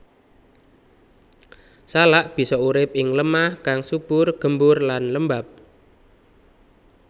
Salak bisa urip ing lemah kang subur gembur lan lembab